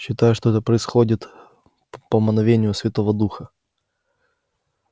считается что это происходит по мановению святого духа